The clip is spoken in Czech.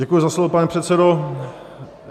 Děkuji za slovo, pane předsedo.